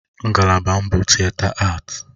Ngalaba m bụ Tịeta Aati.